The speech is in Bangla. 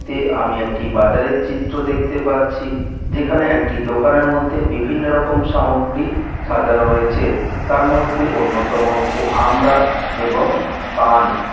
তে আমি একটি বাজারের চিত্র দেখতে পাচ্ছি যেখানে একটি দোকানের মধ্যে বিভিন্ন রকম সামগ্রী সাজানো রয়েছে তার মধ্যে অন্যতম হচ্ছে আমরা এবং পান ।